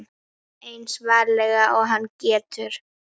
Eins varlega og hann getur.